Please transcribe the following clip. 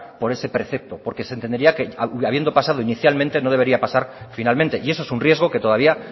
por ese precepto porque se entendería que habiendo pasado inicialmente no debería pasar finalmente y eso es un riesgo que todavía